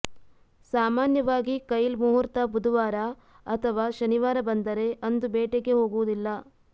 ಸಾಮಾನ್ಯವಾಗಿ ಕೈಲ್ ಮುಹೂರ್ತ ಬುಧವಾರ ಅಥವಾ ಶನಿವಾರ ಬಂದರೆ ಅಂದು ಬೇಟೆಗೆ ಹೋಗುವುದಿಲ್ಲ